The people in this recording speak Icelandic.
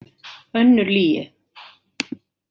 Önnur lygi.